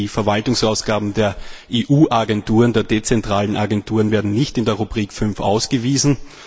Die Verwaltungsausgaben der EU Agenturen, der dezentralen Agenturen, werden nicht in der Rubrik 5 ausgewiesen.